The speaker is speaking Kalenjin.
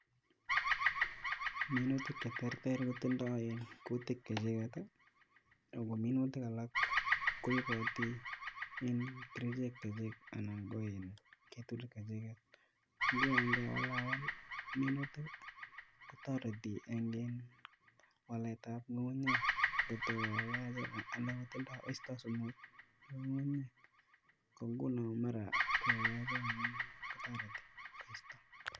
Minutik che terter kotindoi minutik chechiket ako minutik alak koipoti kerichek chechi anan ko keturek chechiket. Nguno ngewalawal minutik kotoreti eng waletab ngungunyek ngotoko yachen andan kotindoi koisto sumut, ko nguno mara koyachen kotoreti koisto.